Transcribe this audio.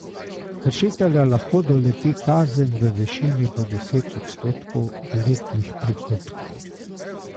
Kršitelja lahko doleti kazen v višini do deset odstotkov letnih prihodkov.